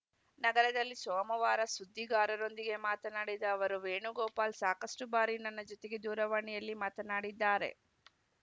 ನಗರದಲ್ಲಿ ಸೋಮವಾರ ಸುದ್ದಿಗಾರರೊಂದಿಗೆ ಮಾತನಾಡಿದ ಅವರು ವೇಣುಗೋಪಾಲ್‌ ಸಾಕಷ್ಟುಬಾರಿ ನನ್ನ ಜೊತೆಗೆ ದೂರವಾಣಿಯಲ್ಲಿ ಮಾತನಾಡಿದ್ದಾರೆ